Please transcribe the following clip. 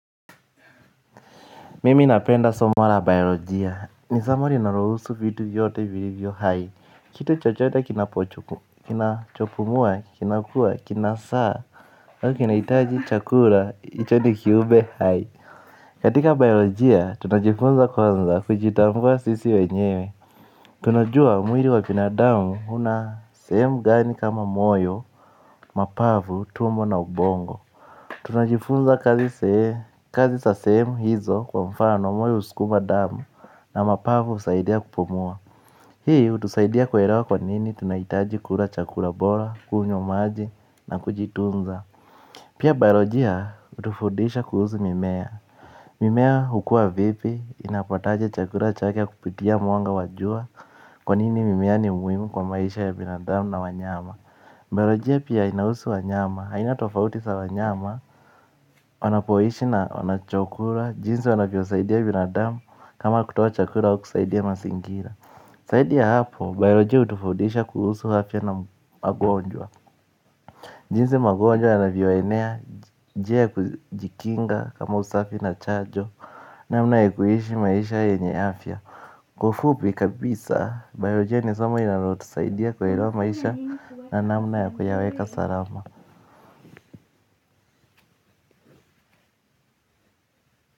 Mimi napenda somo la biolojia. Ni somo linalohusu vitu vyote vilivyo hai. Kitu chochote kinachopumua, kinakua, kinazaa au kinahitaji chakula, hicho ni kiube hai. Katika biolojia tunajifunza kwanza kujitambua sisi wenyewe. Tunajua mwili wa binadamu una sehemu gani kama moyo, mapavu, tumbo na ubongo. Tunajifunza kazi za sehemu hizo kwa mfano moyo huskuma damu na mapavu husaidia kupomua. Hii hutusaidia kuelewa kwa nini tunahitaji kula chakula bora, kunywa maji na kujitunza pia biolojia hutufundisha kuhusu mimea. Mimea hukua vipi inapataje chakula chake kupitia mwanga wa jua. Kwa nini mimea ni muhimu kwa maisha ya binadamu na wanyama. Biolojia pia inahusu wanyama, aina tofauti za wanyama. Wanapoishi na wanachokula. Jinzi wanavyosaidi ya binadamu, kama kutoa chakula wa kusaidia masingira. Zaidi ya hapo, biolojia hutufundisha kuhusu afya na magonjwa. Jinsi magonjwa yanavyoenea njia ya kujikinga kama usafi na chanjo. Namna ya kuhishi maisha yenye afya. Kufupi kabisa, biolojia ni soma linalotusaidi ya kuelewa maisha. Na namna ya kuyaweka salama.